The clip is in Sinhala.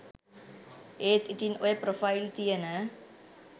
ඒත් ඉතින් ඔය ප්‍රොෆයිල් තියන